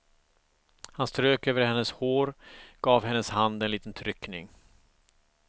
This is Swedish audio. Han strök över hennes hår, gav hennes hand en liten tryckning.